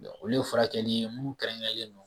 Olu ye furakɛli munnu kɛrɛnkɛrɛnnen don.